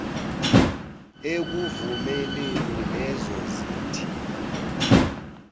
ekuvumeleni lezo zithiyo